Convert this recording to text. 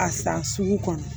A san sugu kɔnɔ